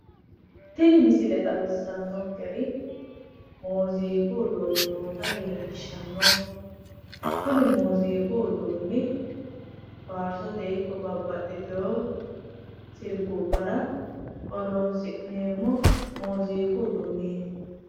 Tini misile xawissannonkeri muziiqu uduunni noota leellishshanno kuni muziiqu uduunni faarsote ikko babbaxxiteyo sirbubbara horonsi'neemmo muziiqu uduunneeti